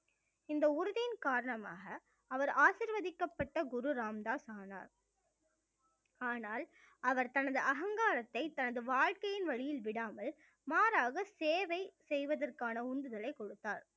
இந்த உறுதியின் காரணமாக அவர் ஆசிர்வதிக்கப்பட்ட குரு ராமதாஸ் ஆனார் ஆனால் அவர் தனது அகங்காரத்தை தனது வாழ்க்கையின் வழியில் விடாமல் மாறாக சேவை செய்வதற்கான உந்துதலை கொடுத்தார்